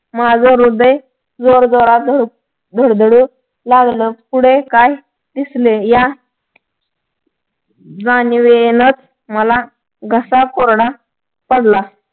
माझं हृदय जोरजोरात धडधडू लागलं पुढे काय दिसले या जाणीवेनंच मला घसा कोरडा पडला